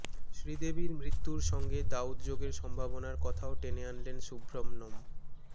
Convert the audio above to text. শ্রীদেবীর মৃত্যুর সঙ্গে দাউদ যোগের সম্ভাবনার কথাও টেনে আনলেন সুব্রহ্মণ্যম